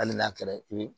Hali n'a kɛra i bɛ